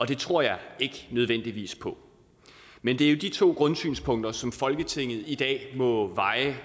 det tror jeg ikke nødvendigvis på men det er jo de to grundsynspunkter som folketinget i dag må veje